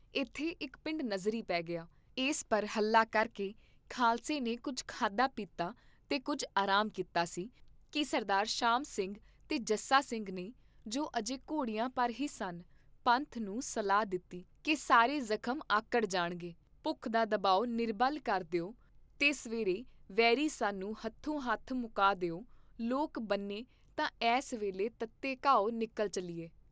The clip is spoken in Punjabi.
ਇਥੇ ਇਕ ਪਿੰਡ ਨਜ਼ਰੀ ਪੇ ਗਿਆ, ਇਸ ਪਰ ਹੱਲਾ ਕਰਕੇ ਖਾਲਸੇ ਨੇ ਕੁੱਝ ਖਾਧਾ ਪੀਤਾ ਤੇ ਕੁੱਝ ਆਰਾਮ ਕੀਤਾ ਸੀ ਕੀ ਸਰਦਾਰ ਸ਼ਾਮ ਸਿੰਘ ਤੇ ਜੱਸਾ ਸਿੰਘ ਨੇ, ਜੋ ਅਜੇ ਘੋੜਿਆਂ ਪਰ ਹੀ ਸਨ, ਪੰਥ ਨੂੰ ਸਲਾਹ ਦਿੱਤੀ ਕੀ ਸਾਰੇ ਜ਼ਖਮ ਆਕੜ ਜਾਣਗੇ, ਭੁੱਖ ਦਾ ਦਬਾਉਂ ਨਿਰਬਲ ਕਰ ਦੇ ਊ ਤੇ ਸਵੇਰੇ ਵੈਰੀ ਸਾਨੂੰ ਹੱਥੋਂ ਹੱਥ ਮੁਕਾ ਦੇ ਊ ਲੋਕ ਬੰਨ੍ਹੇ ਤਾਂ ਐੱਸ ਵੇਲੇ ਤੱਤੇ ਘਾਉ ਨਿਕਲ ਚੱਲੀਏ